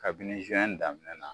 Kabini daminɛ na